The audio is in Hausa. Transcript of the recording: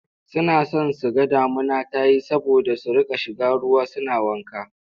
Suna son su ga damuna ta yi saboda su riƙa shiga ruwa suna wanka.